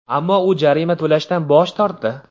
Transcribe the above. Ammo u jarima to‘lashdan bosh tortdi.